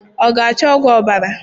Ọ ga-acho ọgwụ ọbara?